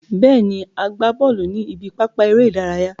Bẹ́ẹ̀ ni, a gbá bọ́ọ̀lù ní ibi pápá eré ìdárayá.